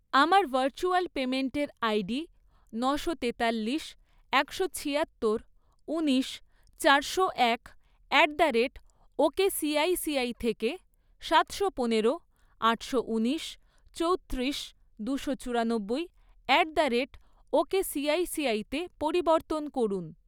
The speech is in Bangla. আমার ভার্চুয়াল পেমেন্টের আইডি নশো তেতাল্লিশ, একশো ছিয়াত্তর, উনিশ, চারশো এক অ্যাট দ্য রেট ওকেসিআইসিআই থেকে সাতশো পনেরো, আটশো ঊনিশ, চৌত্রিশ, দুশো চুরানব্বই অ্যাট দ্য রেট ওকেসিআইসিআইতে পরিবর্তন করুন।